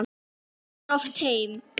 Kemur oft heim.